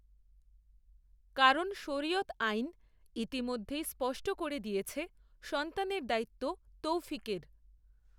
কারণ শরিয়ত আইন ইতিমধ্যেই স্পষ্ট করে দিয়েছে, সন্তানের দায়িত্ব, তৌফিকের